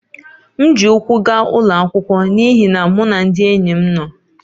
M ji ụkwụ gaa ụlọ akwụkwọ n’ihi na mụ na ndị enyi m nọ